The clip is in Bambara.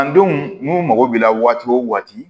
An denw n'u mago b'i la waati o waati